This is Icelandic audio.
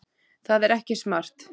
Það er ekki smart.